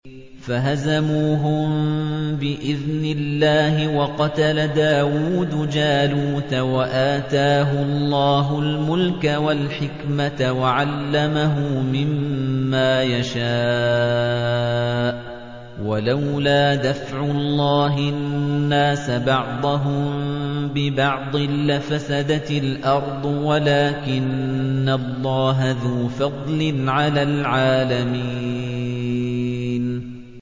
فَهَزَمُوهُم بِإِذْنِ اللَّهِ وَقَتَلَ دَاوُودُ جَالُوتَ وَآتَاهُ اللَّهُ الْمُلْكَ وَالْحِكْمَةَ وَعَلَّمَهُ مِمَّا يَشَاءُ ۗ وَلَوْلَا دَفْعُ اللَّهِ النَّاسَ بَعْضَهُم بِبَعْضٍ لَّفَسَدَتِ الْأَرْضُ وَلَٰكِنَّ اللَّهَ ذُو فَضْلٍ عَلَى الْعَالَمِينَ